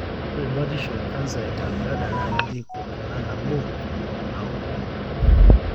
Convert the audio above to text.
ore batisho ecanser e gallbladder na ketii kuna nabo, aku entito.